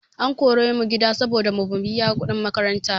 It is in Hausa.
An kore mu gida saboda bamu biya kuɗin makaranta ba.